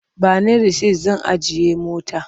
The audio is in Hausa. Ba ni rasit zan ajiye mota.